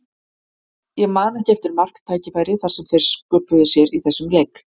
Ég man ekki eftir marktækifæri sem þeir sköpuðu sér í þessum leik.